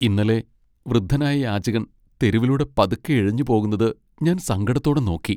ഇന്നലെ വൃദ്ധനായ യാചകൻ തെരുവിലൂടെ പതുക്കെ ഇഴഞ്ഞു പോകുന്നത് ഞാൻ സങ്കടത്തോടെ നോക്കി .